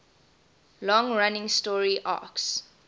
long running story arcs